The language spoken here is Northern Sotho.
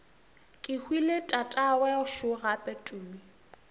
kehwile tatagwe šo gape tumi